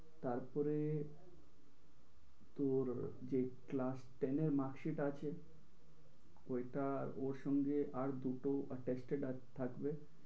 তারপরে তোর যে class ten এর marksheet আছে ওইটা ওর সঙ্গে আর দুটো attested থাকবে।